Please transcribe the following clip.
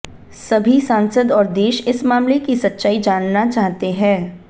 सभी सांसद और देश इस मामले की सच्चाई जानना चाहते हैं